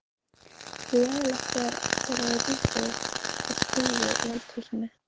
Leiðinlegt þegar allt er á rúi og stúi í eldhúsinu.